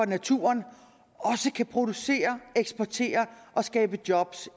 naturen også kan producere eksportere og skabe job